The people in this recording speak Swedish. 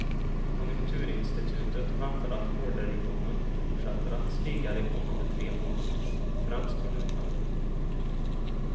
Konjunkturinstitutet väntar att orderingången fortsätter att stiga de kommande tre månaderna, främst från utlandet.